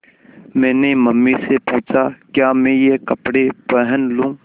मैंने मम्मी से पूछा क्या मैं ये कपड़े पहन लूँ